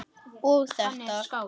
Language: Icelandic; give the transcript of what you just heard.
og þetta